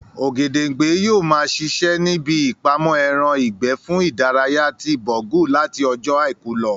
Ògèdèngbé yóò ma ṣiṣẹ́ ní ibi ìpamọ́ ẹran ìgbẹ́ fún ìdárayá ti Bọ̀rgú láti ọjọ́ àìkú lọ